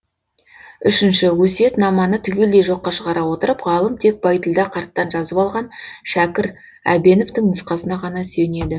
үшінші өсиетнаманы түгелдей жоққа шығара отырып ғалым тек байділдә қарттан жазып алған шәкір әбеновтің нұсқасына ғана сүйенеді